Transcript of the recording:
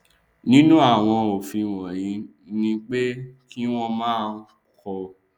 nínú àwọn òfin wọnyí ni pé kí wọn máa kọ